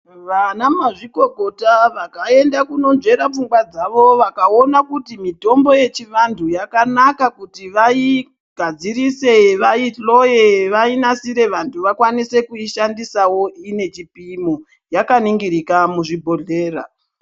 Vanamazvikokota vakayenda kunozveka pfungwa dzavo vakawona kuti mitombo yechivantu yakanaka kuti vayigadzirise vayihloye, vayinasire, vantu vakwanise kuyishandisawo inechipimo. Yakaningirika muzvibhodhlera.